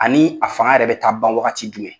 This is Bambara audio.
Ani a fanga yɛrɛ bɛ taa ban wagati jumɛn?